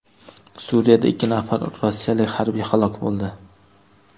Suriyada ikki nafar rossiyalik harbiy halok bo‘ldi.